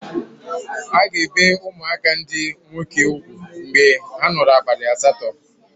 A ga-ebe ụmụaka ndị nwoke ugwu mgbe a nọrọ abalị asatọ.